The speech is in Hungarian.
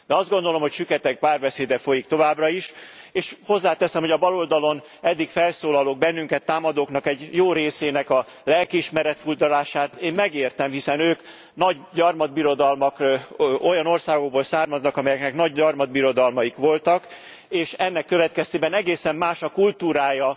De azt gondolom, hogy süketek párbeszéde folyik továbbra is, és hozzáteszem, hogy a baloldalon eddig felszólalók, bennünket támadók egy jó részének a lelkiismeret furdalását én megértem, hiszen ők olyan országokból származnak, amelyeknek nagy gyarmatbirodalmaik voltak, és ennek következtében egészen más a kultúrája